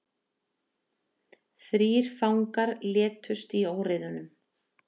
Þrír fangar létust í óeirðum